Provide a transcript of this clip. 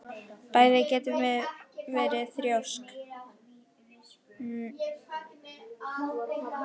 Bæði getum við verið þrjósk.